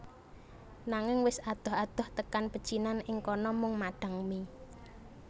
Nanging wis adoh adoh tekan pecinan ing kana mung madhang mie